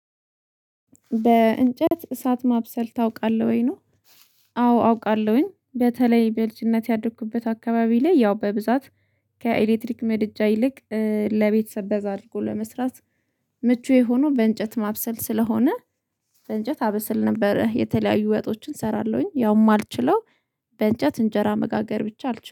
በእንጨት እሳት ማብሰል ታውቃለህ ወይ? ነው። አ አዎ! አውቃለሁኝ። በተለይ በልጅነት ያደኩበት አካባቢ ላይ፣ ያው፣ በብዛት ከኤሌክትሪክ ምድጃ ይልቅ እ ለቤተሰብ በዛ አድርጎ ለመስራት ምቹ የሆኑ በእንጨት ማብሰል ስለሆነ፣ በእንጨት አበስል ነበር። የተለያዩ ወጦችን እሰራለሁኝ፣ ያውም የማልችለው፤ በእንጨት እንጀራ መጋገር ብቻ አልችልም።